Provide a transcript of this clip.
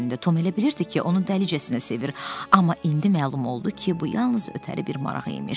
Tom elə bilirdi ki, onu dəlicəsinə sevir, amma indi məlum oldu ki, bu yalnız ötəri bir maraq imiş.